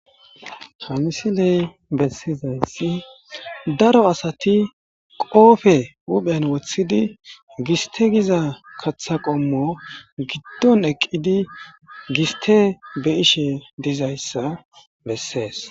hanisi ley bessizensi daro asati qoofe uphen woththidi gisteygiza katha qommo giddon eqqidi giste be ishe dizayssa bessees